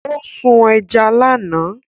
Ó sún ẹja lánàá